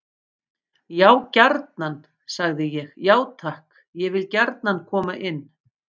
Já gjarnan, sagði ég: Já takk, ég vil gjarnan koma inn.